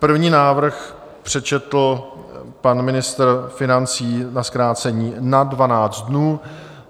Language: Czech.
První návrh přečetl pan ministr financí na zkrácení na 12 dnů.